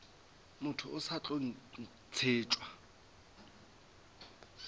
motho o sa tlo ntšhetšwa